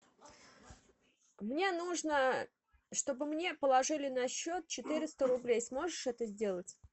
мне нужно чтобы мне положили на счет четыреста рублей сможешь это сделать